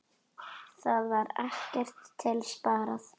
Þar var ekkert til sparað.